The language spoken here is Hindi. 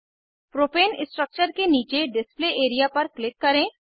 प्रोपेन स्ट्रक्चर के नीचे डिस्प्ले एरिया पर क्लिक करें